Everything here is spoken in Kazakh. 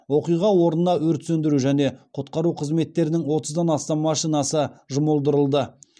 оқиға орнына өрт сөндіру және құтқару қызметтерінің отыздан астам машинасы жұмылдырылды